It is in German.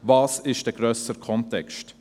Was ist dieser grössere Kontext?